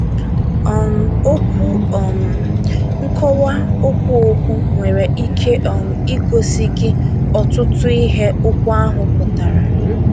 um Okwu um nkowa okwu okwu nwere ike um igosi gị ọtụtụ ihe okwu ahụ pụtara.